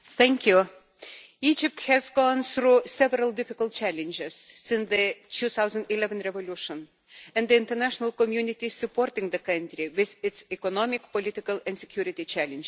Madam President, Egypt has gone through several difficult challenges since the 2011 revolution, and the international community is supporting the country in its economic, political and security challenges.